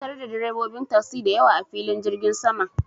Na tarar da direbobin tasi da yawa, a filin jirgin saman.